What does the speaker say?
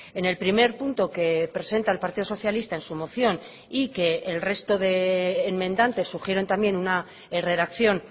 en el primer punto que presenta el partido socialista en su moción y que el resto de enmendantes sugieren también una redacción